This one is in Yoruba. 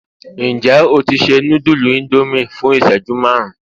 njé o ti se nudulu Indomie fún iṣẹju marun